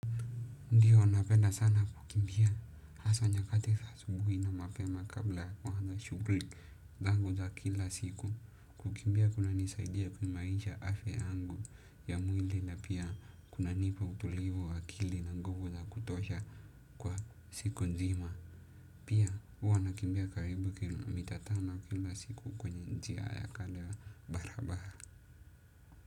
Ndiyo napenda sana kukimbia, haswa nyakati za asubuhi na mapema kabla ya kuanza shughli zangu za kila siku, kukimbia kunanisaidia kuimaisha afya yangu ya mwili na pia kunanipa utulivu wa akili na nguvu za kutosha kwa siku nzima. Pia huwa nakimbia karibu kilomita tano kila siku kwenye njia ya kando ya barabaha.